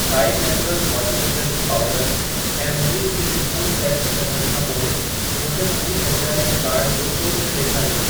Tide Naturals washing detergent powder ऐं Anjali steel spoon set खे कढण खां पोइ मूंखे मुंहिंजी खरीदारी जे कार्ट जो कुल बिल ॾेखारियो।